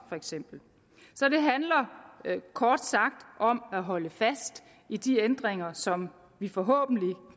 så så det handler kort sagt om at holde fast i de ændringer som vi forhåbentlig